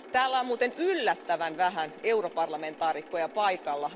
Täällä on muuten yllättävän vähän europarlamentaarikkoja paikalla.